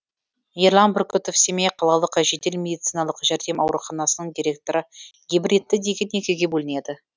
ерлан бүркітов семей қалалық жедел медициналық жәрдем ауруханасының директоры гибридті деген екіге бөлінеді